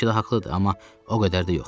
Bəlkə də haqlıdır, amma o qədər də yox.